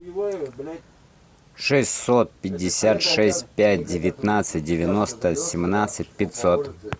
шестьсот пятьдесят шесть пять девятнадцать девяносто семнадцать пятьсот